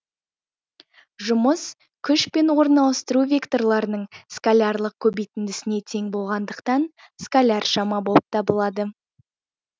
жұмыс күш пен орын ауыстыру векторларының скалярлық көбейтіндісіне тең болғандықтан скаляр шама болып табылады